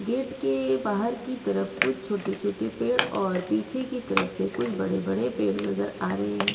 Gate के बाहर की तरफ कुछ छोटे-छोटे पेड़ और पीछे की तरफ से कुछ बड़े-बड़े पेड़ नजर आ रहे हैं।